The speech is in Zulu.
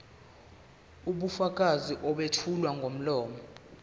ubufakazi obethulwa ngomlomo